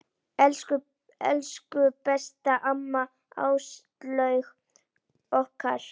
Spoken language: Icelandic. Elsku besta amma Áslaug okkar.